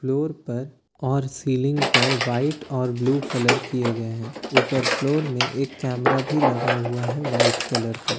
floor पर और ceiling पर व्हाइट और ब्लू कलर किए गए हैं ऊपर फ्लोर में एक कैमरा भी लगा हुआ है वाइट कलर का--